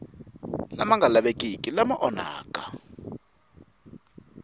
lama nga lavekiki lama onhaka